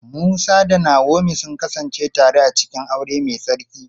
Musa da Naomi sun kasance tare a cikin aure mai tsarki.